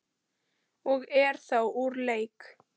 og eru þá úr leik.